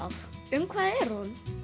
um hvað er hún